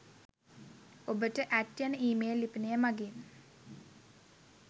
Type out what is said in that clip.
ඔබට . ඇට් . යන ඊමේල් ලිපිනය මගින්